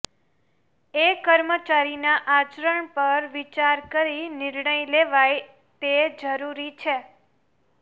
એ કર્મચારીના આચરણ પણ વિચાર કરી નિર્ણય લેવાય તે જરૂરી છે